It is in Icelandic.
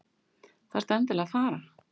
Þarftu endilega að fara?